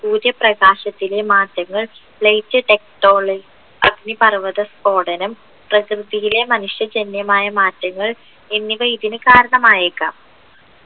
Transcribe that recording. സൂര്യപ്രകാശയത്തിലെ മാറ്റങ്ങൾ light techtonic അഗ്നിപർവ്വത സ്ഫോടനം പ്രകൃതിയിലെ മനുഷ്യജന്യമായ മാറ്റങ്ങൾ എന്നിവ ഇതിന് കാരണമായേക്കാം